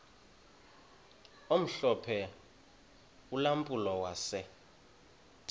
omhlophe ulampulo wase